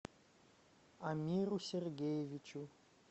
амиру сергеевичу